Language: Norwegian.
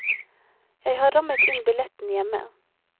Jeg har rammet inn billetten hjemme.